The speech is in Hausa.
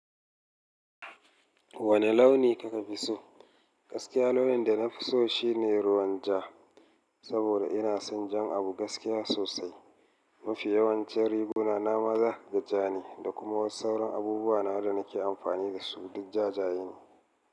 Wane launi ka ka fi so? Gaskiya launin da na fi so shi ne ruwan ja, saboda ina son jan abu gaskiya sosai. Mafi yawancin riguna na ma zaka ga ja ne da kuma sauran abubuwa na da nake amfani da su duk jajaye ne.